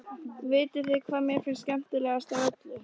Vitiði hvað mér finnst skemmtilegast af öllu?